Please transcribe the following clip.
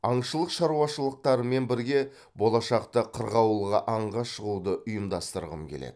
аңшылық шаруашылықтарымен бірге болашақта қырғауылға аңға шығуды ұйымдастырғым келеді